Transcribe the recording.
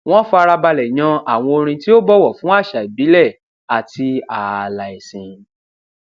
wón farabalè yan àwọn orin tí ó bọwọ fún àṣà ìbílè àti ààlà ẹsìn